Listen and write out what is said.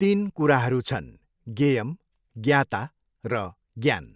तिन कुराहरू छन् ज्ञेयम्, ज्ञाता र ज्ञान।